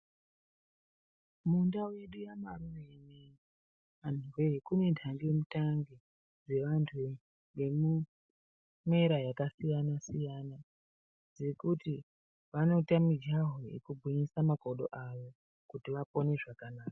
Munda yedu yaMarure, antuwee kune ntange mutange, yevantu vane mwera yakasiyana-siyana ,yekuti vanoita mijaho yekugwinyisa makodo avo, kuti vapone zvakanaka.